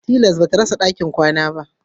Tilas bata rasa ɗakin kwana